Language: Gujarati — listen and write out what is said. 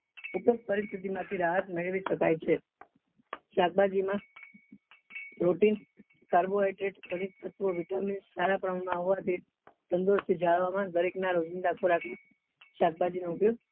પરિસ્થિતિ માં થી રાહત મેળવી શકાય છે શાકભાજી માં proteincarbohydrate vitamin સારા પ્રમાણ માં હોવાથી તંદુરસ્તી જાળવવા માં દરેક ના રોજીંદા ખોરાક માં શાકભાજી નો ઉપયોગ